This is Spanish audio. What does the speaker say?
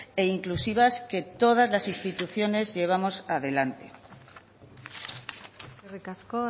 e inclusivas que todas las instituciones llevamos adelante eskerrik asko